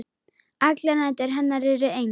Allar nætur hennar eru eins.